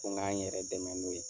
Ko k'an yɛrɛ dɛmɛ n'o ye.